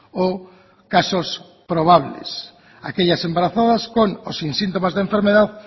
o casos probables aquellas embarazadas con o sin síntomas de enfermedad